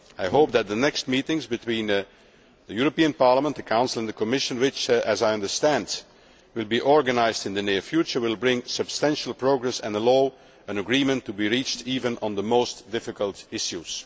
I hope that the next meetings between Parliament, the Council and the Commission, which I understand will be organised in the near future, will bring substantial progress and allow an agreement to be reached, even on the most difficult issues.